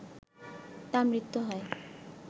তাঁর মৃত্যু হয়